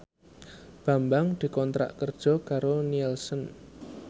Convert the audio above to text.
Bambang dikontrak kerja karo Nielsen